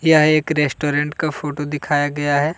यह एक रेस्टोरेंट का फोटो दिखाया गया है।